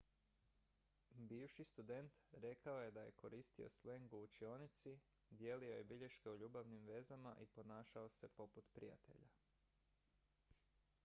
"bivši student rekao je da je "koristio sleng u učionici dijelio je bilješke o ljubavnim vezama i ponašao se poput prijatelja"".